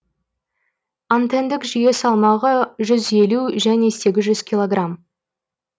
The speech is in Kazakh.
антендік жүйе салмағы жүз елу және сегіз жүз килограмм